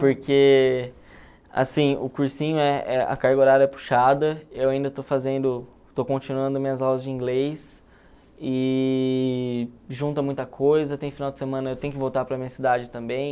Porque, assim, o cursinho, é é a carga horária é puxada, eu ainda estou fazendo, estou continuando minhas aulas de inglês, e junta muita coisa, tem final de semana, eu tenho que voltar para a minha cidade também.